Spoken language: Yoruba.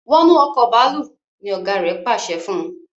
wọnú Ọkọ̀ bàálù! ní ọgá rẹ pàṣẹ fún.